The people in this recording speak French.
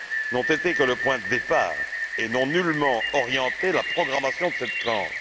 n'ont été que le point de départ et n'ont nullement orienté la programmation de cette tranche.